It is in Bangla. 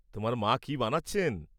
তোমার মা কী বানাচ্ছেন?